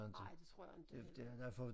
Ej det tror jeg inte heller